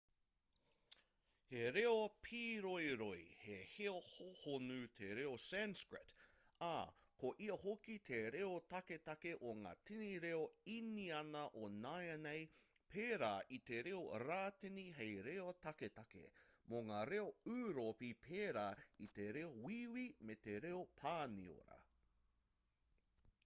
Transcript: he reo pīroiroi he reo hōhonu te reo sanskrit ā ko ia hoki te reo taketake o ngā tini reo īniana o nāianei pērā i te reo rātini hei reo taketake mō ngā reo ūropi pērā i te reo wīwi me te reo pāniora